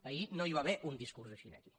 ahir no hi va haver un discurs així aquí